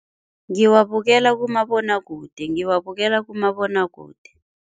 Ngiwabukela kumabonwakude, ngiwabukela kumabonwakude.